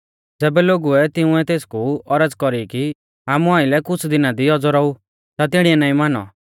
ज़ैबै लोगुऐ तिंउऐ तेसकु औरज़ कौरी कि आमु आइलै कुछ़ दिना दी औज़ौ रौऊ ता तिणीऐ नाईं मानौ